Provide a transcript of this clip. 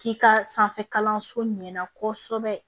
K'i ka sanfɛ kalanso ɲɛna kɔsɛbɛ